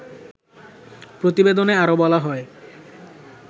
প্রতিবেদনে আরো বলা হয়